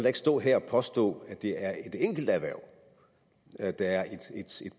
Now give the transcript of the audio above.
ikke stå her og påstå at det er et enkelt erhverv at der er et